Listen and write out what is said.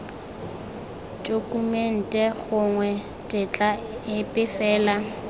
tokumente gongwe tetla epe fela